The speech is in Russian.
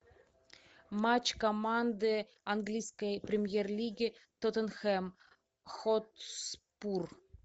матч команды английской премьер лиги тоттенхэм хотспур